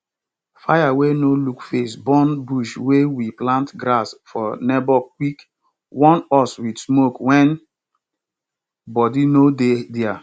fire wey no look face burn bush wey we plant grass for neighbor quick warn us with smoke when body no dey there